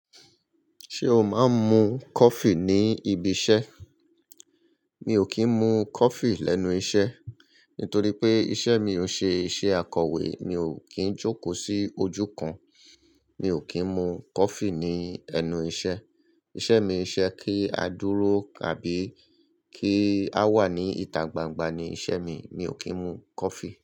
Ṣé o máa ń mu coffee ní ibi iṣẹ́? Mi ò kí ń mu coffee lẹ́nu iṣẹ́. Nítorí pé iṣẹ́ mi o n ṣe iṣẹ́ akọ̀wé, mi ò kí ń jókòó sí ojú kan. Mi ò kí ń mu coffee ní ẹnu iṣẹ́. Iṣẹ́ mi i ṣe kí a dúró àbí kí a wà ní ìta gbangba ni iṣẹ́ mi. Mi ò kí ń mu coffee.